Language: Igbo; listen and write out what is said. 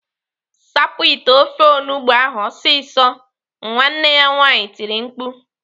"Sapụ ite ofe onugbo ahụ ọsịsọ!" Nwanne ya nwaanyị tiri mkpu.